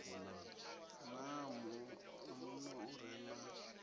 naa muno u re na